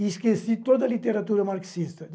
E esqueci toda a literatura marxista.